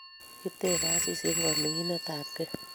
Kitebe Asisi eng kominigetabkei